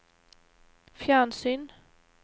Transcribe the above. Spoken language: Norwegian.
fjernsyn